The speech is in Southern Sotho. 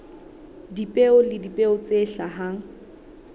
dipeo le dipeo tse hlahang